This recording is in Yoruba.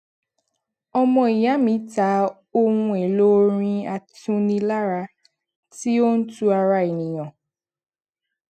ọmọ ìya mi ta ohun èlò ọrin atunilára tí ó ń tu ara ènìyàn